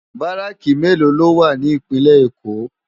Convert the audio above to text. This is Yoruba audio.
Bàráki méló ló wá ni Ipinlè Ékó?